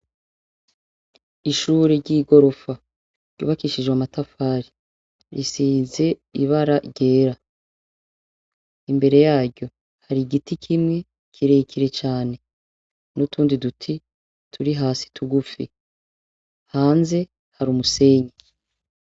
Ishure ry'igorofa, ryubakishijwe amatafari, risize ibara ryera; imbere yaryo, hari igiti kimwe, kirekire cane, n'utundi duti turi hasi tugufi; hanze hari umusenyi.